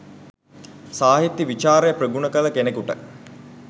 සාහිත්‍ය විචාරය ප්‍රගුණ කළ කෙනෙකුට